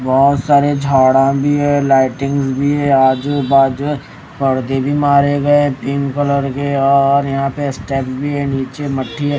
बहोत सारे झाडा भी है लाइटिंग्स भी है आजू बाजू पर्दे मारे गए पिंक कलर के और यहां पे स्टेज भी है नीचे मट्टी है।